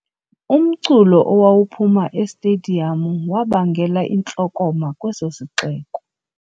Umculo owawuphuma estediyamu wabangela intlokoma kweso sixeko.